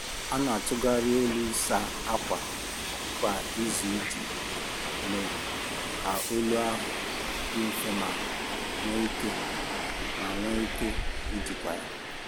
Ha n'atụgharị ọlụ ịsa ákwà kwa izu iji mee ka ọlụ ahụ dị nfe ma nwe ike ma nwe ike ijikwa ya.